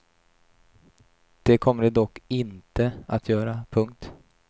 Det kommer de dock inte att göra. punkt